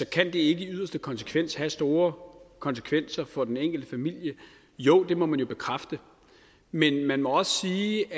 kan det ikke i yderste konsekvens have store konsekvenser for den enkelte familie jo det må man jo bekræfte men man må også sige